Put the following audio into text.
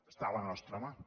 està a la nostra mà